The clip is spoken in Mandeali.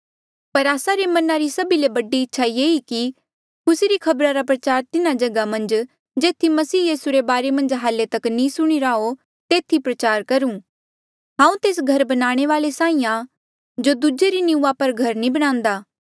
पर आस्सा रे मना री सभी ले बड़ी इच्छा ये ई कि खुसी री खबरा रा प्रचार तिन्हा जगहा मन्झ जेथी मसीह यीसू रे बारे मन्झ हाल्ले तक नी सुणीरा हो तेथी प्रचार करूं हांऊँ तेस घर बनाणे वाले साहीं आ जो दूजे री निंऊँआं पर घर नी बणान्दा